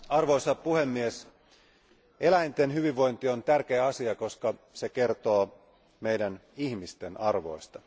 Arvoisa puhemies, eläinten hyvinvointi on tärkeä asia, koska se kertoo meidän ihmisten arvoista.